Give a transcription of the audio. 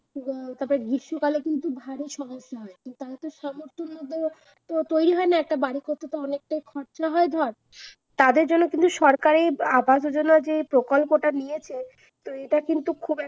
তারপর গ্রীষ্মকাল ও কিন্তু ভালোই সমস্যা হয় কিন্তু তাদের তো সামর্থ্যের মধ্যে পুরো তৈরী হয় না একটা বাড়ি করতে অনেকটাই খরচ হয় ধর, তাদের জন্য কিন্তু সরকারি আবাস যোজনা যেই প্রকল্পটা নিয়েছে এটা কিন্তু খুব